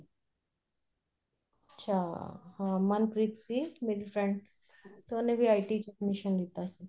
ਅੱਛਾ ਹਾਂ ਮਨਪ੍ਰੀਤ ਸੀ ਮੇਰੀ friend ਤੇ ਉਹਨੇ ਵੀ IT ਚ admission ਲੀਤਾ ਸੀ